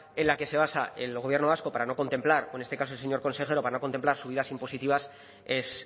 en la que se basa el gobierno vasco para no contemplar o en este caso el señor consejero para no contemplar subidas impositivas es